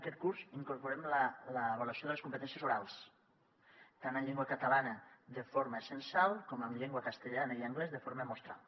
aquest curs incorporem l’avaluació de les competències orals tant en llengua catalana de forma censal com en llengua castellana i anglès de forma mostral